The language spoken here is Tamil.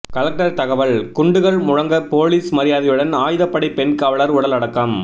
கலெக்டர் தகவல் குண்டுகள் முழங்க போலீஸ் மரியாதையுடன் ஆயுதப்படை பெண் காவலர் உடல் அடக்கம்